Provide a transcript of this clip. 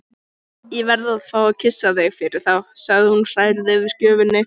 Ég verð að fá að kyssa þig fyrir þá, segir hún hrærð yfir gjöfinni.